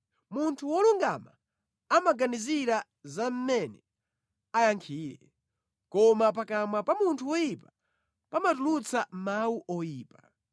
Munthu wolungama amaganizira za mmene ayankhire, koma pakamwa pa munthu woyipa pamatulutsa mawu oyipa.